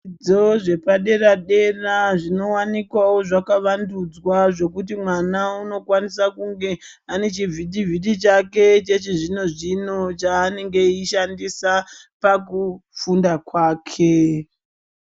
Zvidzidzo zvepa dera dera zvinowanikwawo zvaka vandudzwa zvekuti mwana uno kwanisa kunge ane chivhitivhiti chake chechi zvino zvino chaanenge eyishandisa pakufunda kwake.